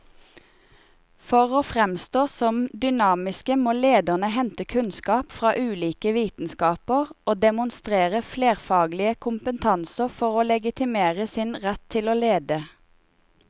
For å framstå som dynamiske må lederne hente kunnskap fra ulike vitenskaper og demonstrere flerfaglig kompetanse for å legitimere sin rett til å lede.